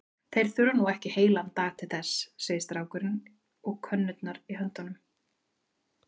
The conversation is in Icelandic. Þeir þurfa nú ekki heilan dag til þess, segir strákurinn og könnurnar í höndum